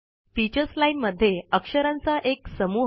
teachers line मध्ये अक्षरांचा एक समुह